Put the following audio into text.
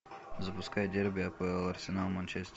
запускай дерби апл арсенал манчестер